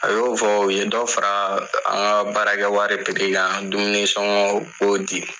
A bɛ y'o fɔ u ye dɔ fara an ka baarakɛ wari kan dumuni sɔngɔ u b'o di.